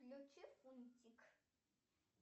включи фунтик